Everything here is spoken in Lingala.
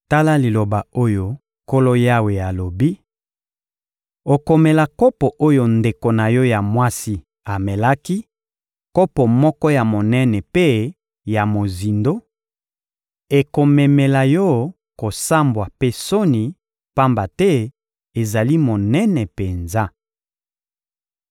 Tala liloba oyo Nkolo Yawe alobi: Okomela kopo oyo ndeko na yo ya mwasi amelaki, kopo moko ya monene mpe ya mozindo; ekomemela yo kosambwa mpe soni, pamba te ezali monene penza.